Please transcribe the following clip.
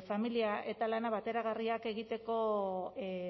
familia eta lana bateragarriak egiteko